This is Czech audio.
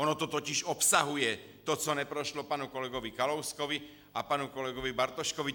Ono to totiž obsahuje to, co neprošlo panu kolegu Kalouskovi a panu kolegovi Bartoškovi.